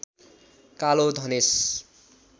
कालो धनेश